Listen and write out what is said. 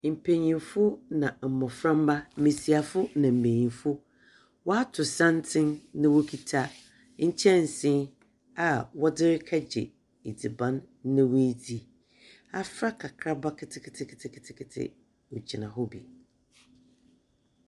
Mpenyinfo na mmɔframa mmesiafo na mmenyinfo waato santen na wɔkita nkyɛnsee a wɔdze rekɛgye adziban na wadzi. Afra kakraba keteketeketeke wɔgyina hɔ bi.